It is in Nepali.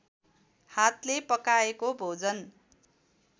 हातले पकाएको भोजन